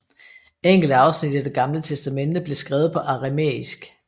Enkelte afsnit i Det Gamle Testamente blev skrevet på aramæisk